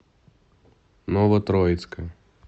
новотроицка